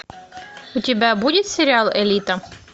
у тебя будет сериал элита